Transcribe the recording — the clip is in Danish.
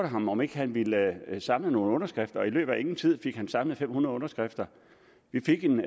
ham om ikke han ville samle nogle underskrifter og i løbet af ingen tid fik han samlet fem hundrede underskrifter vi fik en